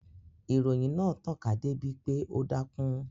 Ìròyìn náà tàn ká dé bi pé ó dákún